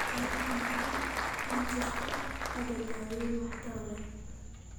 IBM ma jirto hadda daawayn waxtar leh.